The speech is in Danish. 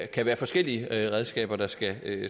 kan være forskellige redskaber der skal